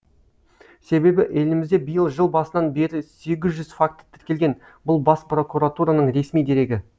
себебі елімізде биыл жыл басынан бері сегіз жүз факті тіркелген бұл бас прокуратураның ресми дерегі